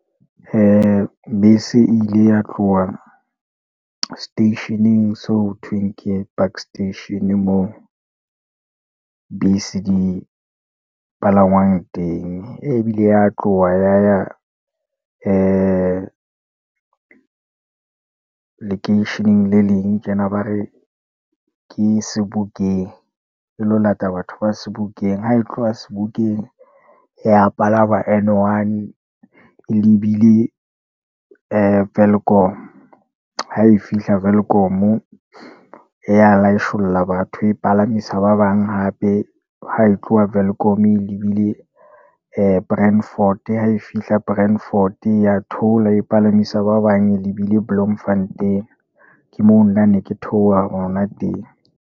Ee bese e ile ya tloha seteisheneng, so ho thweng ke park station moo bese di palangwang teng, ebile ya tloha ya ya, ee lekeisheneng le leng tjena, ba re ke Sebokeng, e lo lata batho ba Sebokeng, ha e tloha Sebokeng ya palama N-one, e lebile ee Welkom. Ha e fihla Welkom, ya ya laitjholla batho, e palamisa ba bang hape, ha e tloha Welkom elibile ee Brandfort, ha e fihla Brandfort ya theola e palamisa ba bang, e lebile Bloemfontein. Ke moo nna ne ke theoha hona teng.